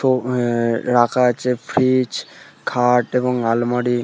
তো আ-এ রাখা আছে ফ্রীজ খাট এবং আলমারি।